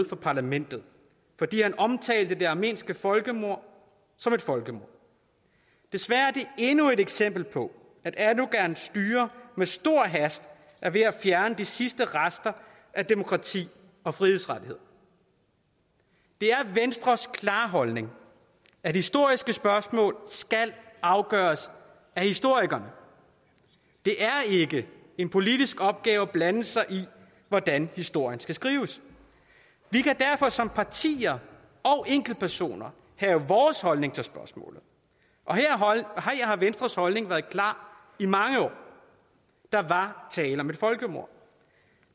fra parlamentet fordi han omtalte det armenske folkemord som et folkemord desværre er det endnu et eksempel på at erdogans styre med stor hast er ved at fjerne de sidste rester af demokrati og frihedsrettigheder det er venstres klare holdning at historiske spørgsmål skal afgøres af historikerne det er ikke en politisk opgave at blande sig i hvordan historien skal skrives vi kan derfor som partier og enkeltpersoner have vores holdning til spørgsmålet og her har venstres holdning været klar i mange år der var tale om et folkemord